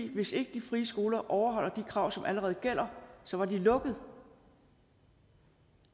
hvis ikke de frie skoler overholdt de krav som allerede gælder så var de lukket